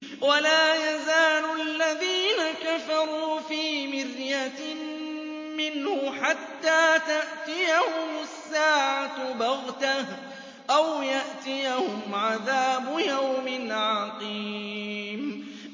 وَلَا يَزَالُ الَّذِينَ كَفَرُوا فِي مِرْيَةٍ مِّنْهُ حَتَّىٰ تَأْتِيَهُمُ السَّاعَةُ بَغْتَةً أَوْ يَأْتِيَهُمْ عَذَابُ يَوْمٍ عَقِيمٍ